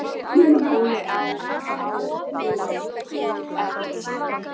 Óli á. há joð ó ell.